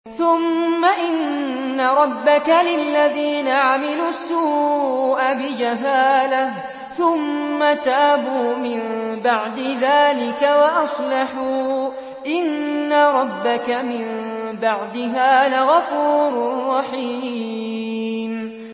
ثُمَّ إِنَّ رَبَّكَ لِلَّذِينَ عَمِلُوا السُّوءَ بِجَهَالَةٍ ثُمَّ تَابُوا مِن بَعْدِ ذَٰلِكَ وَأَصْلَحُوا إِنَّ رَبَّكَ مِن بَعْدِهَا لَغَفُورٌ رَّحِيمٌ